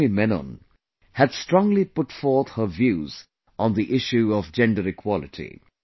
Lakshmi Menon had strongly put forth her views on the issue of gender equality